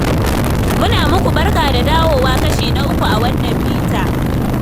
Muna muku barka da dawowa kashi na uku a wannan bita.